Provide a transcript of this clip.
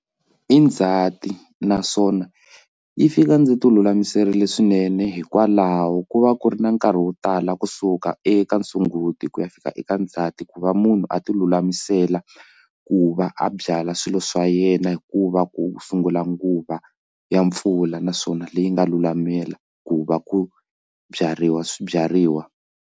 I ndzhati naswona yi fika ndzi ti lulamiserile swinene hikwalaho ko va ku ri na nkarhi wo tala kusuka eka sunguti ku ya fika eka ndzhati ku va munhu a ti lulamisela ku va a byala swilo swa yena hikuva ku sungula nguva ya mpfula naswona leyi nga lulamela ku va ku byariwa swibyariwa.